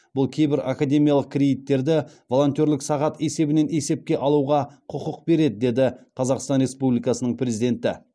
бұл кейбір академиялық кредиттерді волонтерлік сағат есебінен есепке алуға құқық береді деді қазақстан республикасының президенті